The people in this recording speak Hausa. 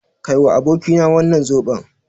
Kaiwa abokina wannan zoɓon.